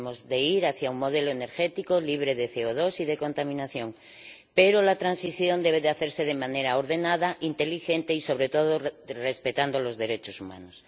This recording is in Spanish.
Debemos ir hacia un modelo energético libre de CO2 y de contaminación, pero la transición debe hacerse de manera ordenada, inteligente y sobre todo, respetando los derechos humanos.